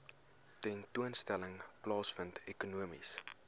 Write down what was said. tentoonstelling plaasvind ekonomiese